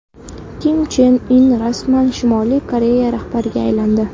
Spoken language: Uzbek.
Kim Chen In rasman Shimoliy Koreya rahbariga aylandi.